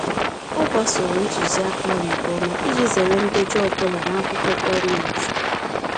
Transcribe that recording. Ọ gbasoro ntuziaka ahụ nke ọma iji zere ndejọ ọbụla n'akwụkwọ gọọmentị.